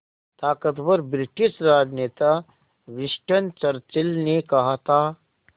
ताक़तवर ब्रिटिश राजनेता Winston Churchill ने कहा था